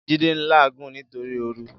Jide n láàgún nitóri óòrú